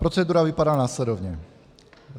Procedura vypadá následovně.